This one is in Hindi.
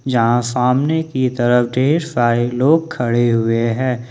यहां सामने की तरफ ढेर सारे लोग खड़े हुए हैं।